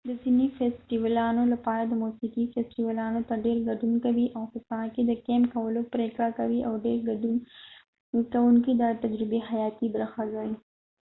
د ځینې فیستیوالونو لپاره د موسیقي فیستیوالونو ته ډیر ګډون کوونکی په ساحه کې د کیمپ کولو پریکړه کوي او ډیری ګډون کونکي دا د تجربې حیاتي برخه ګڼي